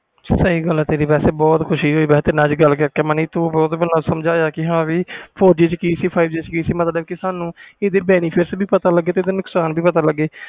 ਸਹੀ ਗੱਲ ਤੇਰੀ ਅੱਜ ਬਹੁਤ ਖੁਸ਼ੀ ਹੋਈ ਤੇਰੇ ਨਾਲ ਮਨੀ ਗੱਲ ਕਰਕੇ ਤੁਸੀ ਦਸਿਆ ਕਿ four g ਵਿਚ ਕਿ ਤੇ five G ਕਿ ਸੀ ਪਤਾ ਸਾਨੂੰ ਇਹਦੇ ਵੀ benefit ਪਤਾ ਲਗੇ ਤੇ ਨੁਕਸਾਨ ਵੀ ਪਤਾ ਲਗੇ